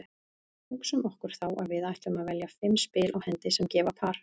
Hugsum okkur þá að við ætlum að velja fimm spil á hendi sem gefa par.